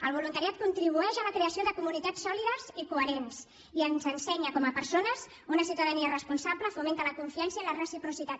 el voluntariat contribueix a la creació de comunitats sòlides i coherents i ens ensenya com a persones que una ciutadania responsable fomenta la confiança i la reciprocitat